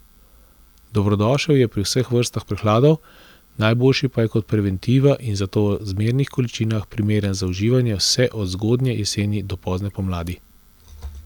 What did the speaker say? Dobrodošel je pri vseh vrstah prehladov, najboljši pa je kot preventiva in zato v zmernih količinah primeren za uživanje vse od zgodnje jeseni do pozne pomladi.